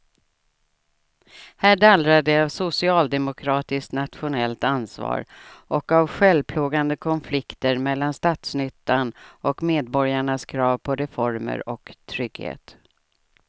Här dallrar det av socialdemokratiskt nationellt ansvar och av självplågande konflikter mellan statsnyttan och medborgarnas krav på reformer och trygghet.